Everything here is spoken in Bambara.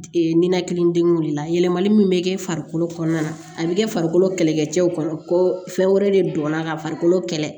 ninakili degun de la yɛlɛmali min bɛ kɛ farikolo kɔnɔna na a bɛ kɛ farikolo kɛlɛkɛcɛw kɔnɔ ko fɛn wɛrɛ de don ka farikolo kɛlɛ